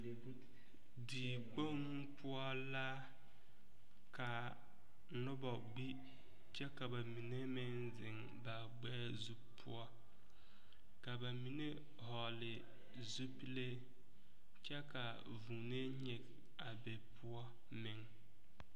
Diekpoŋ poɔ la ka noba gbi kyɛ ka ba mine meŋ zeŋ ba gbɛɛ zu poɔ ka ba mine hɔgle zupile kyɛ ka vuunee nyige a be poɔ meŋ.